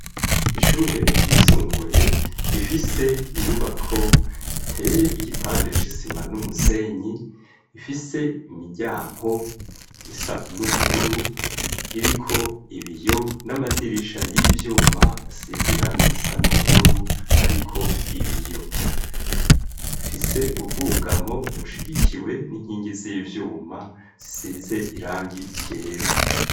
Ishure ryisumbuye rifise inyubako giteye igipande c'isima n'umusenyi ifise imijyanko isa n'ubururu iriko ibiyo n'amadirisha y'ivyuma asize irangi risa n'ubururu ariko ibiyo fise ubwugamo bushigikiwe n'inkingi z'ivyuma zisize irangi yera.